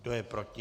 Kdo je proti?